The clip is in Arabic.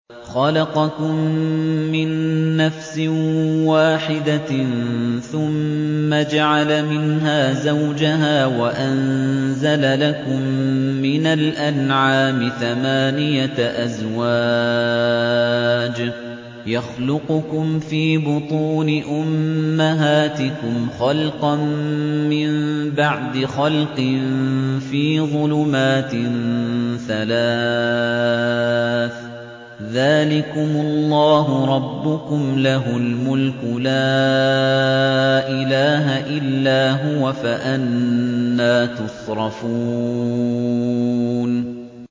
خَلَقَكُم مِّن نَّفْسٍ وَاحِدَةٍ ثُمَّ جَعَلَ مِنْهَا زَوْجَهَا وَأَنزَلَ لَكُم مِّنَ الْأَنْعَامِ ثَمَانِيَةَ أَزْوَاجٍ ۚ يَخْلُقُكُمْ فِي بُطُونِ أُمَّهَاتِكُمْ خَلْقًا مِّن بَعْدِ خَلْقٍ فِي ظُلُمَاتٍ ثَلَاثٍ ۚ ذَٰلِكُمُ اللَّهُ رَبُّكُمْ لَهُ الْمُلْكُ ۖ لَا إِلَٰهَ إِلَّا هُوَ ۖ فَأَنَّىٰ تُصْرَفُونَ